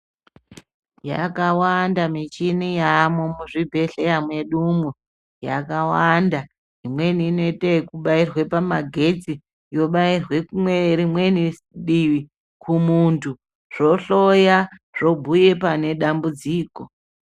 Yakawanda michini yavamo muzvibhedhleya mwedumwo yakawanda. Imweni inoite yekubairwe pamagetsi yobairwe rimweni divi kumuntu, zvohloya zvobuya pane dambudziko.